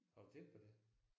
Har du tænkt på det?